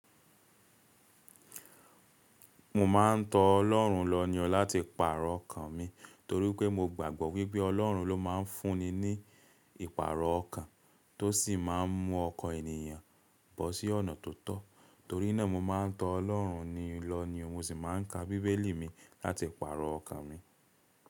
Mo ma ń tọ Ọlọ́run lọ́ni ọ lati pàrọ ọkàn mi, torí pé mo gbàgbọ́ wípé Ọlọ́run ló ma ń fún ni ní ìpàrọ̀ ọkàn tó sì ma ń mú ọkọ ènìyàn bọ̀ sí ọ̀nà tó tọ́. Torí náà, mo ma ń tọ Ọlọ́run ni lọ́ni, mo sì ma ń ka bíbélì mi láti pàrọ ọkàn mi.